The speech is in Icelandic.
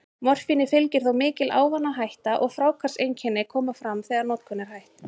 Morfíni fylgir þó mikil ávanahætta, og fráhvarfseinkenni koma fram þegar notkun er hætt.